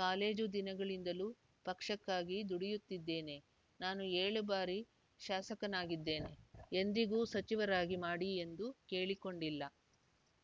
college ದಿನಗಳಿಂದಲೂ ಪಕ್ಷಕ್ಕಾಗಿ ದುಡಿಯುತ್ತಿದ್ದೇವೆ ನಾನು ಏಳು ಬಾರಿ ಶಾಸಕನಾಗಿದ್ದೇನೆ ಎಂದಿಗೂ ಸಚಿವರಾಗಿ ಮಾಡಿ ಎಂದು ಕೇಳಿಕೊಂಡಿಲ್ಲ